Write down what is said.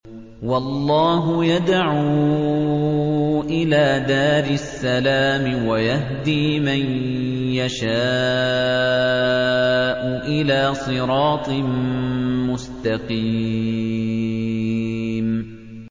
وَاللَّهُ يَدْعُو إِلَىٰ دَارِ السَّلَامِ وَيَهْدِي مَن يَشَاءُ إِلَىٰ صِرَاطٍ مُّسْتَقِيمٍ